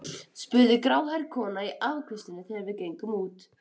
spurði gráhærða konan í afgreiðslunni þegar við gengum út.